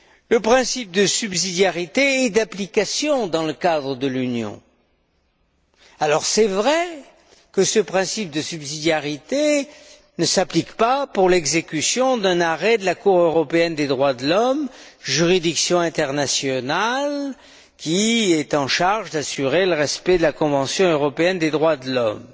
Le principe de subsidiarité est d'application dans le cadre de l'Union. Il est vrai que ce principe de subsidiarité ne s'applique pas pour l'exécution d'un arrêt de la Cour européenne des droits de l'homme, juridiction internationale en charge d'assurer le respect de la Convention européenne des droits de l'homme.